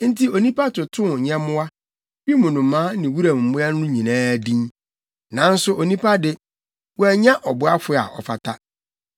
Enti onipa totoo nyɛmmoa, wim nnomaa ne wuram mmoa no nyinaa din. Nanso onipa de, wannya ɔboafo a ɔfata.